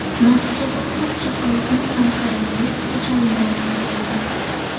Natijada uch chaqaloqning ham koronavirusga chalingani aniqlangan.